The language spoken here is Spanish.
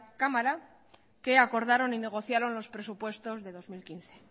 cámara que acordaron y negociaron los presupuestos de dos mil quince